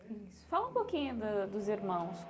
isso Fala um pouquinho do dos irmãos.